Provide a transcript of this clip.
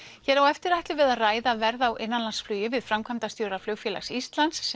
hér á eftir ætlum við að ræða verð á innanlandsflugi við framkvæmdastjóra Flugfélags Íslands